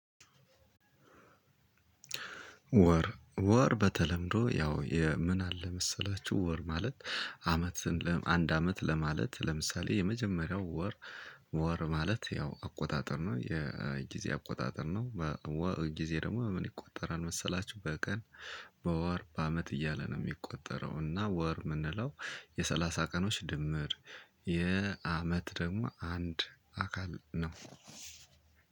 ወር ወር በተለምዶ ያው የምን አለ መሰላችሁ ወር ማለት አመት ለመ አንድ አመት ለማለት ለምሳሌ የመጀመሪያው ወር። ወር ማለት ያው አቆጣጠር ነው የጊዜ አቆጣጠር ነው በ ወጊዜ ደግሞ በምን ይቆጠራል መሰላችሁ? በቀን በወር በአመት እያለ ነው የሚቆጠረው እና ወር የምንለው የሠላሳ ቀኖች ድምር። የአመት ደግሞ አንድ አካል ነው።